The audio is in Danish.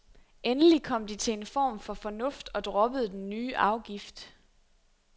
Endelig kom de til en form for fornuft og droppede den nye afgift.